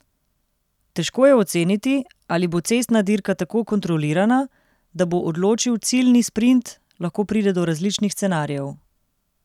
Težko je oceniti, ali bo cestna dirka tako kontrolirana, da bo odločil ciljni sprint, lahko pride do različnih scenarijev.